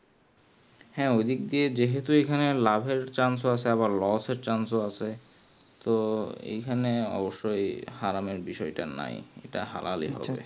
হ্যাঁ ওই দিক থেকে যেহুতু লাভের chance ও আছে আবার lose এ chance ও হবে তো ওই খানে অবশ্যই হারামের বসায়টা নাই যেটা হালালে হবে